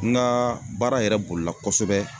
N kaa baara yɛrɛ bolila kosɛbɛ